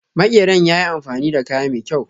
Makeran yayi amfani da kaya mai kyaw.